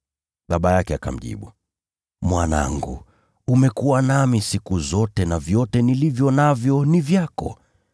“Baba yake akamjibu, ‘Mwanangu, umekuwa nami siku zote na vyote nilivyo navyo ni vyako.